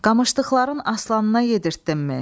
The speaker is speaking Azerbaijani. Qamışdıqların aslanına yedirtdinmi?